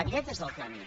aquest és el camí